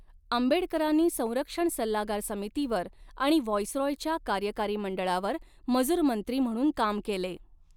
आंबेडकरांनी संरक्षण सल्लागार समितीवर आणि व्हाईसराॅयच्या कार्यकारी मंडळावर मजूरमंत्री म्हणून काम केले.